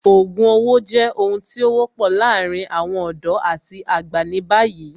Ògùn owó jẹ́ ohun tí ó wọ́pọ̀ láàárín àwọn ọ̀dọ́ àti àgbà ní báyìí